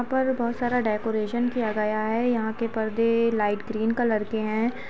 यहाँ पर बहुत सारा डेकोरेशन किया गया है। यहाँ के परदे लाइट ग्रीन कलर के है।